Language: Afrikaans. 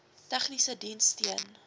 tegniese diens steun